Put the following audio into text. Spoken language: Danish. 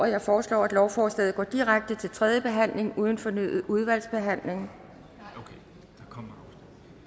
jeg foreslår at lovforslaget går direkte til tredje behandling uden fornyet udvalgsbehandling